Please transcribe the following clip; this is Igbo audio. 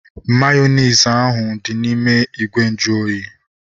Mayonezi ahu dị n'ime ìgwè nju oyi